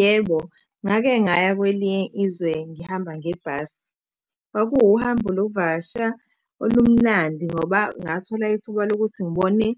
Yebo, ngake ngaya kwelinye izwe ngihamba ngebhasi. Kwakuwuhambo lokuvakasha olumnandi ngoba ngathola ithuba lokuthi ngibone